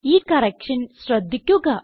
ഈ കറക്ഷൻ ശ്രദ്ധിക്കുക